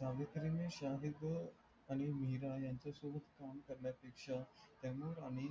काव्यशाई मध्ये शाहिद आणि अनिल मेहरा यांच्या सोबत कारण्या पेक्षा टेमुर आणि